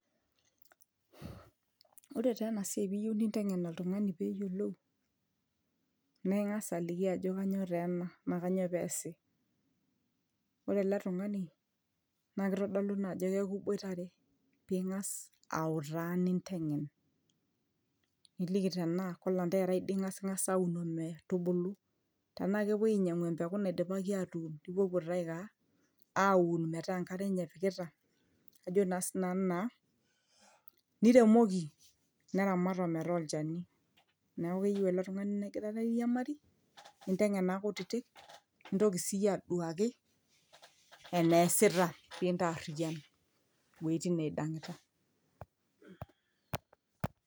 ore taa ena siai piyieu ninteng'en oltung'ani peyiolou naa ing'as aliki ajo kanyoo taa ena naa kanyoo peesi ore ele tung'ani naa kitodolu naa ajo keeku iboitare ping'as autaa ninteng'en niliki tenaa kolanterarai dii ing'as aun ometubulu tenaa kepuoi ainyiang'u empeku naidipaki atuun nipuopuo taa aiko aa aun metaa enkare enye epikita ajo naa sinanu naa niremoki neramat ometaa olchani neeku keyieu ele tung'ani nigirara airiamari ninteng'en maa kutitik nintoki siiyie aduaki eneesita pintarriyian iwuejitin neidang'ita.